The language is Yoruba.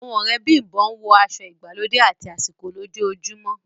Awọn ọ̀rẹ́ Bimbo ǹwọ aṣọ igbàlódẹ àti àsìkò lójóòjúmọ